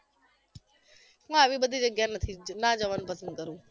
મને આવી બધી જગ્યા નથી ગમતી ના જવાનુ પસંદ કરુ